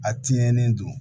A tiɲɛnen don